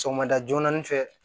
Sɔgɔmada joona nin fɛ